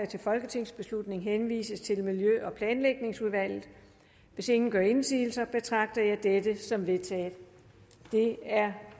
til folketingsbeslutning henvises til miljø og planlægningsudvalget hvis ingen gør indsigelser betragter jeg dette som vedtaget det er